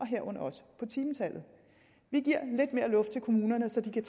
herunder også på timetallet vi giver lidt mere luft til kommunerne så de kan